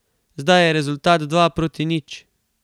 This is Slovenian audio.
Zdaj je rezultat dva proti nič.